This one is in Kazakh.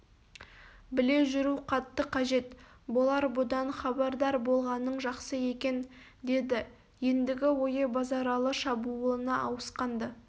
біле жүру қатты қажет болар бұдан хабардар болғаның жақсы екен деді ендігі ойы базаралы шабуылына ауысқан-ды